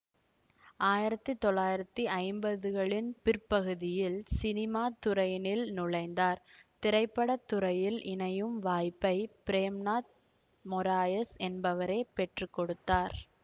ஆயிரத்தி தொள்ளாயிரத்தி ஐம்பதுகளின் பிற்பகுதியில் சினிமாத்துறையினில் நுழைந்தார் திரைப்பட துறையில் இணையும் வாய்ப்பை பிரேம்நாத் மொராயஸ் என்பவரே பெற்றுக்கொடுத்தார்